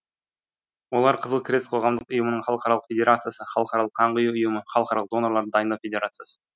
олар қызыл крест қоғамдық ұйымының халықаралық федерациясы халықаралық қан құю ұйымы халықаралық донорларды дайындау федерациясы